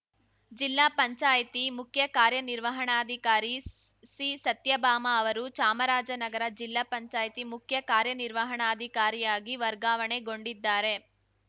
ಜಿಲ್ಲಾ ಪಂಚಾಯಿತಿ ಮುಖ್ಯ ಕಾರ್ಯನಿರ್ವಹಣಾಧಿಕಾರಿ ಸಿಸತ್ಯಭಾಮ ಅವರು ಚಾಮರಾಜನಗರ ಜಿಲ್ಲಾ ಪಂಚಾಯ್ತಿ ಮುಖ್ಯ ಕಾರ್ಯನಿರ್ವಹಣಾಧಿಕಾರಿಯಾಗಿ ವರ್ಗಾವಣೆಗೊಂಡಿದ್ದಾರೆ